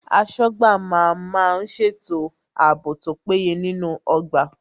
Aṣọ́gbà má ń má ń ṣètò ààbò tó péye nínú ọgbà